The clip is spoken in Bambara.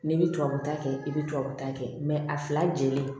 N'i bɛ tubabu ta kɛ i bɛ tubabu ta kɛ a fila jenilen